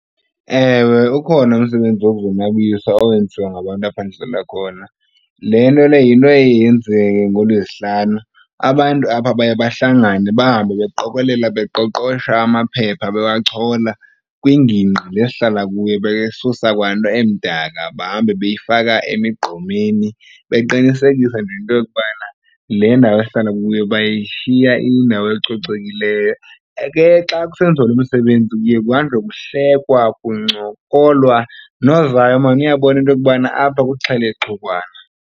Ewe, ukhona umsebenzi wokuzonwabisa owenziwa ngabantu apha ndihlala khona. Le nto le yinto eye yenzeke ngoLwezihlanu. Abantu apha baye bahlangane bahambe beqokolela beqoqosha amaphepha, bewachola. Kwingingqi le sihlala kuyo besusa kwanto emdaka bahambe beyifaka emigqomeni, beqinisekisa nje into yokubana le ndawo esihlala kuyo bayishiya iyindawo ecocekileyo. Ke xa kusenziwa lo msebenzi kuye kuhanjwe kuhlekwa, kuncokolwa nozayo maan uyabona into yokubana apha kuxhelexukwana.